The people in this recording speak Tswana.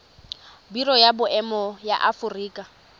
biro ya boemo ya aforika